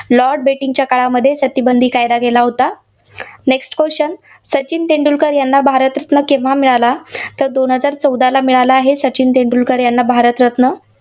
Lord बेटिंकच्या काळामध्ये सतीबंदीचा कायदा केला होता. next question सचिन तेंडुलकर यांना भारतरत्न केव्हा मिळाला? तर दोन हजार चौदाला मिळाला आहे सचिन तेंडुलकर यांना भारतरत्न.